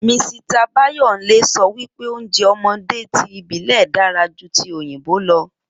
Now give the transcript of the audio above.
Misita Báyòńlé sọ wípé oúnjẹ ọmọdé tí ìbílè dára jú tí òyìnbó lọ